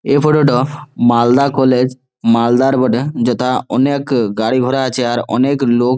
এই ফটো টো মালদা কলেজ মালদার বটে যেথা অনেক গাড়ি ঘোড়া আছে আর অনেক লোক--